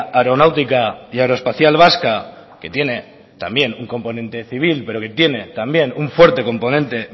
aeronáutica y aeroespacial vasca que tiene también un componente civil pero que tiene también un fuerte componente